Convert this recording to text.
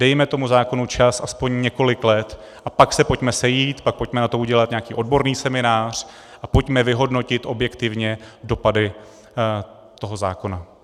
Dejme tomu zákonu čas aspoň několik let, a pak se pojďme sejít, pak pojďme na to udělat nějaký odborný seminář a pojďme vyhodnotit objektivně dopady toho zákona.